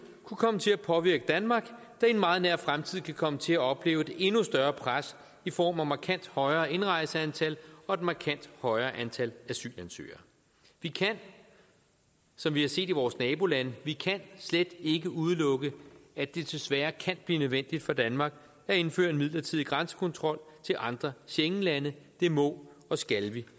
kunne komme til at påvirke danmark der i en meget nær fremtid kan komme til at opleve et endnu større pres i form af markant højere indrejseantal og et markant højere antal asylansøgere vi kan som vi har set i vores nabolande slet ikke udelukke at det desværre kan blive nødvendigt for danmark at indføre en midlertidig grænsekontrol til andre schengenlande det må og skal vi